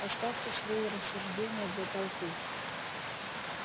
оставьте свои рассуждения для толпы